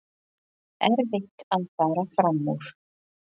Erfitt að fara fram úr